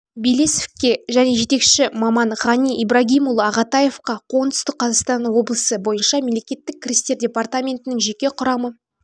белесовке және жетекші маман ғани ибрагимұлы ағатаевқа оңтүстік қазақстан облысы бойынша мемлекеттік кірістер департаментінің жеке құрамы